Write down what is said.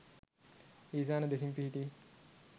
ඊසාන දෙසින් පිහිටි